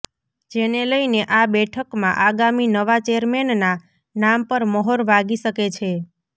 જેને લઇને આ બેઠકમાં આગામી નવા ચેરમેનના નામ પર મહોર વાગી શકે છે